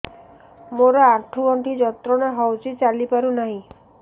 ମୋରୋ ଆଣ୍ଠୁଗଣ୍ଠି ଯନ୍ତ୍ରଣା ହଉଚି ଚାଲିପାରୁନାହିଁ